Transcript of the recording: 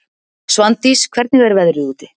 Svandís, hvernig er veðrið úti?